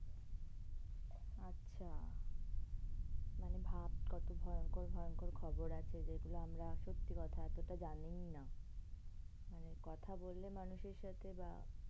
আচ্ছা. মানে ভাব কত ভয়ঙ্কর ভয়ংকর খবর আছে যেগুলো আমরা সত্যি কথা এতটা জানিই না. মানে কথা বললে মানুষের সাথে বা